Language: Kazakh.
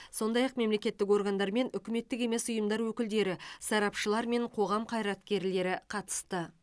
сондай ақ мемлекеттік органдар мен үкіметтік емес ұйымдар өкілдері сарапшылар мен қоғам қайраткерлері қатысты